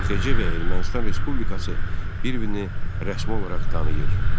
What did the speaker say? AXC və Ermənistan Respublikası bir-birini rəsmi olaraq tanıyır.